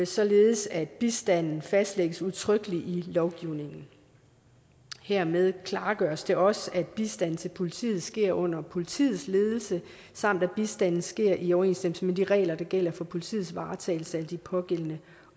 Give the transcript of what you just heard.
således at bistanden fastlægges udtrykkeligt i lovgivningen hermed klargøres det også at bistand til politiet sker under politiets ledelse samt at bistanden sker i overensstemmelse med de regler der gælder for politiets varetagelse af de pågældende